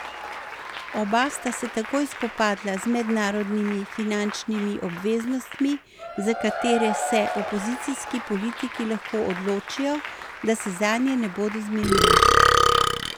Oba sta se takoj spopadla z mednarodnimi finančnimi obveznostmi, za katere se opozicijski politiki lahko odločijo, da se zanje ne bodo zmenili.